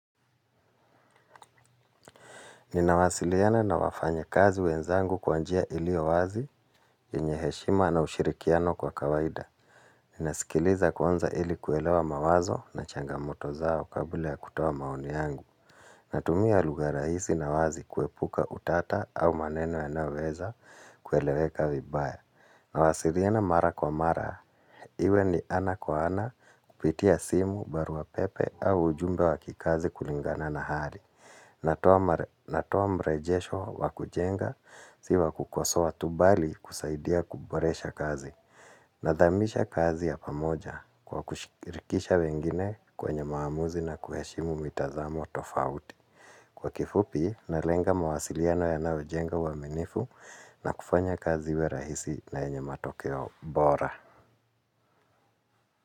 Ninawasiliana na wafanya kazi wenzangu kwa njia ilio wazi inaheshima na ushirikiano kwa kawaida. Ninasikiliza kwanza ili kuelewa mawazo na changamoto zao kabla ya kutoa maoni yangu. Natumia lugha rahisi na wazi kuepuka utata au maneno yanayoweza kueleweka vibaya. Nawasiliana mara kwa mara. Iwe ni ana kwa ana kupitia simu, barua pepe au ujumbe wa kikazi kulingana na hali. Natoa mrejesho wa kujenga si wa kukosoa tu bali kusaidia kuboresha kazi. Nadhamisha kazi ya pamoja kwa kushirikisha wengine kwenye maamuzi na kuheshimu mitazamo tofauti. Kwa kifupi, nalenga mawasiliano yanaojenga uwaminifu na kufanya kazi iwe rahisi na yenye matokeo bora.